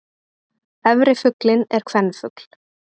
Efri fuglinn er kvenfugl.